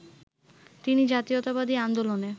তিনি জাতীয়তাবাদী আন্দোলনে